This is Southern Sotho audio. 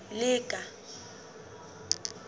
lekala